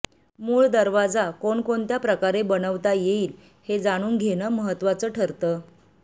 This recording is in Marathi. मूळ दरवाजा कोणकोणत्या प्रकारे बनवता येईल ते जाणून घेणं महत्त्वाचं ठरतं